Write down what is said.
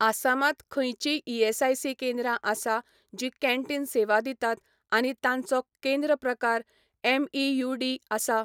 आसामांत खंयचींय ईएसआयसी केंद्रां आसा जीं कॅन्टीन सेवा दितात आनी तांचो केंद्र प्रकार एमइयूडी आसा?